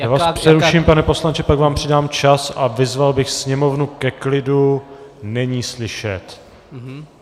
Já vás přeruším, pane poslanče, pak vám přidám čas, a vyzval bych sněmovnu ke klidu, není slyšet!